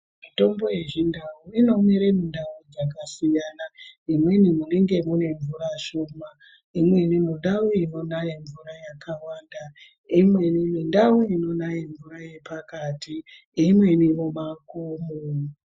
Mitombo yeChiNdau inomere mundau dzakasiyana. Imweni munenge mune mvura shoma, imweni mundau inonaya mvura yakawanda, imweni mindau inonaye mvura yepakati, imweni mumakomo.